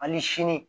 Ani sini